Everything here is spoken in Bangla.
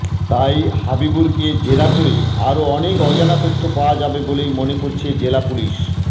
তাই হাবিবুরকে জেরা করে আরও অনেক অজানা তথ্য পাওয়া যাবে বলেই মনে করছে জেলা পুলিশ